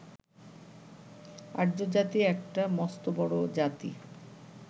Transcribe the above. আর্য্যজাতি একটা মস্ত বড় জাতি